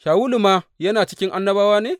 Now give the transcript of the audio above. Shawulu ma yana cikin annabawa ne?